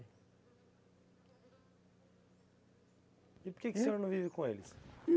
E por que que o senhor não vive com eles?